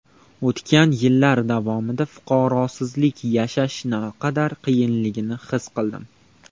O‘tgan yillar davomida fuqaroliksiz yashash naqadar qiyinligini his qildim.